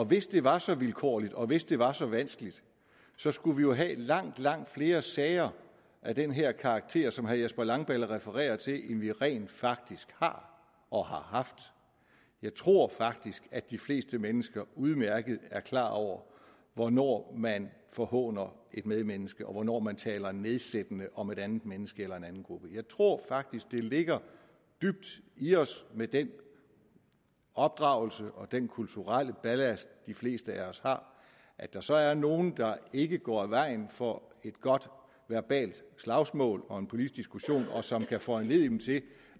hvis det var så vilkårligt og hvis det var så vanskeligt så skulle vi jo have langt langt flere sager af den her karakter som herre jesper langballe refererer til end vi rent faktisk har og har haft jeg tror faktisk at de fleste mennesker udmærket er klar over hvornår man forhåner et medmenneske og hvornår man taler nedsættende om et andet menneske eller en anden gruppe jeg tror faktisk det ligger dybt i os med den opdragelse og den kulturelle ballast de fleste af os har at der så er nogen der ikke går af vejen for et godt verbalt slagsmål og en politisk diskussion som kan foranledige dem til